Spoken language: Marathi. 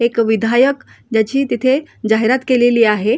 एक विधायक ज्याची तिथे जाहिरात केलेली आहे.